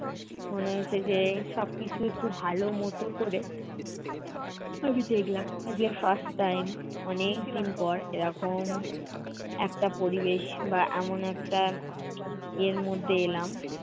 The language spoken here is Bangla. মনে হয়েছে যে, সবকিছু একটু ভালো মতো করে আমি দেখলাম। একদিন first time অনেকদিন পর এরকম একটা পরিবেশ বা এমন একটা ইয়ের মধ্যে এলাম,